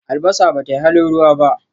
Albasa ba tayi halin ruwa ba.